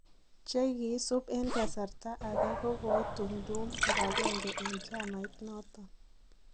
che kiisup en kasarta age kokoitumdum kibagenge en chamait noton